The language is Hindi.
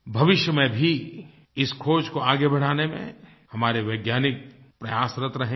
भविष्य में भी इस ख़ोज को आगे बढ़ाने में हमारे वैज्ञानिक प्रयासरत रहेंगे